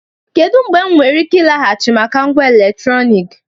Kedu mgbe m nwere ike ịlaghachi maka ngwa eletrọnịkị?